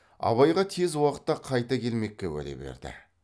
абайға тез уақытта қайта келмекке уәде берді